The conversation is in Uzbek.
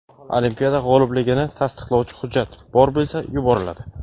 olimpiada g‘olibligini tasdiqlovchi hujjat (bor bo‘lsa) yuboriladi.